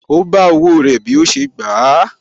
Ó bá owó rẹ̀ bí ó ṣe gbà á